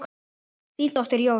Þín dóttir, Jórunn.